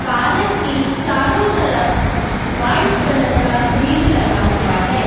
Park के चारों तरफ व्हाइट कलर का ग्रिल लगा हुआ है।